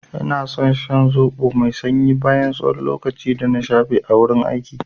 Ina san shan zoɓo mai sanyi bayan tsawon lokaci dana shafe a gurin aiki.